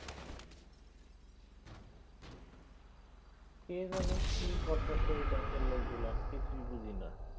কে জানে কি করতাছে এই ব্যাঙ্কের লোকগুলান কিছুই বুঝিনা